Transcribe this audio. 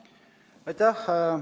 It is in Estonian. Aitäh!